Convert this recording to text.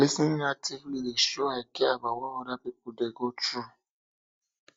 lis ten ing actively dey show i care about what others dey go through